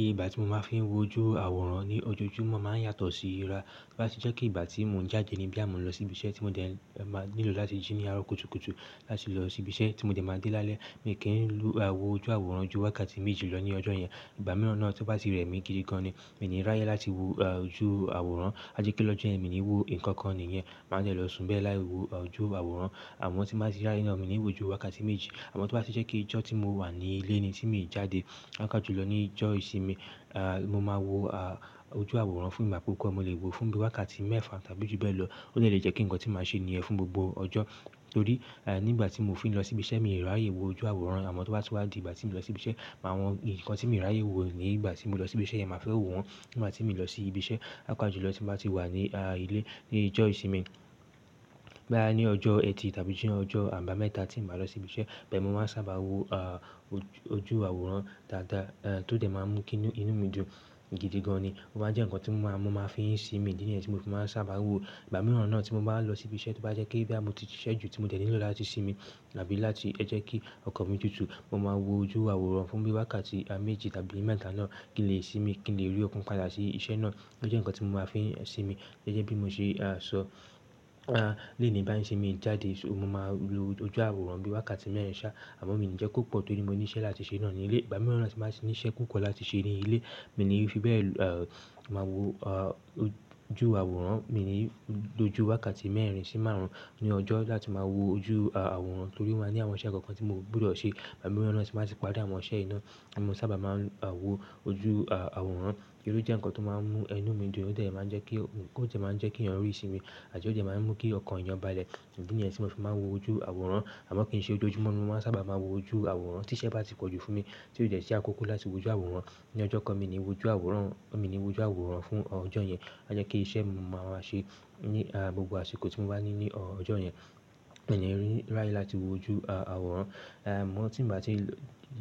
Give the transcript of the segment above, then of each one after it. Ìgbà ti mo ma fi n wo ojú àwòrán ni ojoojúmọ́ ma n yàtọ̀ si ira. To ba ti jẹ́ pe ìgbà tí mò n jáde ní boya mò n lọ sí ibi iṣẹ́ tí mò dẹ́ máa nílò láti jí ní àárọ̀ kùtùkùtù láti lọ sí ibi iṣẹ́ tí mò dẹ́ máa dé lálẹ́, mi kí n wò ojú àwòrán ju wákàtí méjì lọ ní ọjọ́ yẹn. Ìgbà mìíràn náà tí o ba ti rẹ́ mi gidi gan ni, mi ní ráyè láti wo ojú àwòrán, à jẹ pe lọ́jọ́ yẹn mi o níí wo nǹkan kan nìyẹn, màá dẹ́ lọ sùn bẹ́ẹ̀ láì wo ojú àwòrán. Àmọ́ tí màá ti ráyè náà, mi níí wo ju wákàtí méjì. Àmọ́ tí wá ti jẹ́ kí ìjọ́ tí mò wà ní ilé ni tí mi n jáde, pàápàá jùlọ ní ìjọ́ ìsinmi, mo máa wo ojú àwòrán fún ìgbà púpọ̀, mo lè wo fún bí wákàtí mẹ́ẹ̀fa tàbí ju bẹ́ẹ̀ lọ. Ó lè jẹ́ kí ǹkan tí màá ṣe níyẹn fún gbogbo ọjọ́. Torí nígbà tí mò fi n lọ sí ibi iṣẹ́, mi rí áyè wo ojú àwòrán. Amọ to ba ti wa di ìgbà ti mi o lọ si ibi iṣẹ́ àwọn nkan ti mi o raye wo nigbati mo lọ si ibi iṣẹ́ yẹn ma a fẹ wo wọ́n nigbati mi o lọ si ibi iṣẹ́ pàápàá jùlọ tí mò ba ti wà ní ilé, ní ìjọ́ ìsinmi. Boya ni ọjọ́ Ẹtì tàbí ni ọjọ́ àbámẹ́ta tí n ba lọ sí ibi iṣẹ́, ibẹ́ mo máa n sábà wo ojú àwòrán dáadáa, tó dẹ́ máa n mú kí inú mi dùn gidi gan ni. Ó máa jẹ́ ǹkan tí mò máa fi n ṣi mi níyẹn, tí mo fi máa n sábà wo. Ìgbà mìíràn náà tí mò bá lọ sí ibi iṣẹ́, tí wá jẹ́ kí boya mo ti ṣíṣẹ ju tí mò dẹ́ nílò láti sinmi tàbí láti jẹ́ kí ọkàn mi tútu, mo máa wo ojú àwòrán fún bí wákàtí méjì tàbí mẹ́ta náà kí n lè sinmi, kí n lè rí okun padà sí iṣẹ́ náà. Ó jẹ́ ǹkan tí mò máa fi n sinmi. Gẹ́gẹ́ bí mo ṣe sọ, leení bá n sin mi jáde, mo máa lo ojú àwòrán bí wákàtí mẹ́rin sá. Àmọ́ mi ni jẹ́ kó pọ̀ torí mo ní iṣẹ́ láti ṣe nà ní ilé. Ìgbà mìíràn tí màá ti ní iṣẹ́ tó pọ̀ láti ṣe nínú ilé, mi níí fi bẹ́ẹ̀ máa wo ojú àwòrán. Mi níí lo jú wákàtí mẹ́rin sí márùn-ún ní ọjọ́ láti máa wo ojú àwòrán torí mo ní àwọn iṣẹ́ kan kan tí mò gbọ́dọ̀ ṣe. Igbamiran náà tí mo ba ti parí àwọn iṣẹ́ yìí naa, mo maa n sábà wo ojú àwòrán ó jẹ́ ǹkan tó máa n mú inú mi dùn, ó dẹ́ máa n jẹ́ kí, ó dẹ́ máa n jẹ́ kí èèyàn rí ìsinmi àti ó dẹ́ máa n mú kí ọkàn eeyàn balẹ̀. Idi nìyẹn ti mo fi maa n wọ ojú àwòrán àmọ́ kí n ṣe ojoojúmọ́ ni mò sábà máa n wo ojú àwòrán tí iṣẹ́ bá ti pọ̀jù fún mi, tí ó dẹ́ sí àkókó láti wo ojú àwòrán. Ni ọjọ́ kan mi o ni woju àwòrán o, mi o ni woju àwòrán fún ọjọ́ yẹn a jẹ́ ke iṣẹ́ mi mo máa wá ṣe ní gbogbo àsìkò tí mò bà ní ọjọ́ yẹn. Mi ni r'áyè láti wo ojú àwòrán. Àmọ́ tí mò bá ti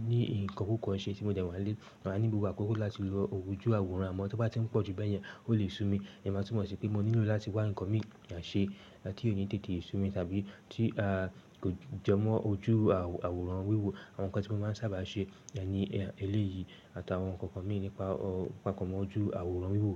ní nǹkan púpọ̀ n ṣe tí mò dẹ́ wà ní ilé, màá ní gbogbo àkókó láti lọ wo ojú àwòrán. Àmọ́ tí o ba ti n pọ̀ ju bẹ́ẹ̀ yẹn, ó lè sú mi. Ìyẹn máa túmọ̀ sí pé mo nílò láti wá nǹkan míì ṣe, tí ò ní tètè sú mi tàbí tí kò jẹ mọ́ ojú àwòrán wíwò. Àwọn nǹkan ti mo máa ń sábà ṣe ni eléyìí, àtàwọn nǹkan kan míì nípa papọ̀ pẹ̀lú ojú àwòrán wíwò.